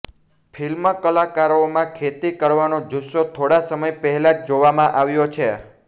film કલાકારોમાં ખેતી કરવાનો જુસ્સો થોડા સમય પહેલા જ જોવામાં આવ્યો છે